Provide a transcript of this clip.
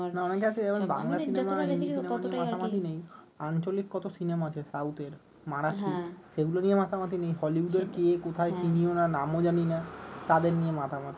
না অনেকে আছে এভাবে বাংলা সিনেমা হিন্দি সিনেমা নিয়ে মাতামাতি নেই আঞ্চলিক কত সিনেমা আছে সাউথের মারাঠি সেগুলো নিয়ে মাতামাতি নেই হলিউডের কে কোথায় চিনি ও না নাম ও জানি না তাদের নিয়ে মাতামাতি